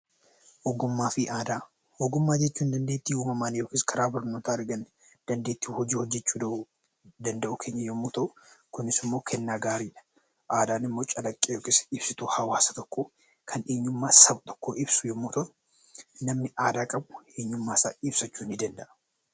Ogummaa fi aadaa Ogummaa jechuun dandeettii uumamaan yookiis karaa barnootaa arganne dandeettii hojii hojjechuu danda'uu keenya yemmuu ta'u, kunis immoo kennaa gaaridha. Aadaan immoo calaqqee yookaan ibsituu saba tokkoo kan eenyummaa saba tokkoo ibsu yemmuu ta'u, namni aadaa qabu, eenyummaa isaa ibsachuu ni danda'a.